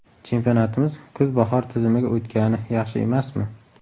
Chempionatimiz kuz-bahor tizimiga o‘tgani yaxshi emasmi?